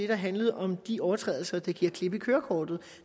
der handlede om de overtrædelser der giver klip i kørekortet